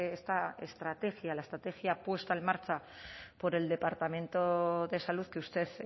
esta estrategia la estrategia puesta en marcha por el departamento de salud que usted